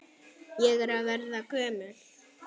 Ég er að verða gömul.